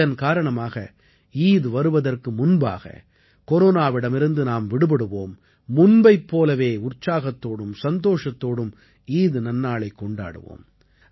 இதன் காரணமாக ஈத் வருவதற்கு முன்பாக கொரோனாவிடமிருந்து நாம் விடுபடுவோம் முன்பைப் போலவே உற்சாகத்தோடும் சந்தோஷத்தோடும் ஈத் நன்னாளைக் கொண்டாடுவோம்